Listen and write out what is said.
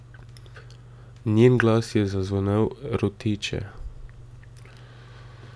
Njen glas je zazvenel roteče.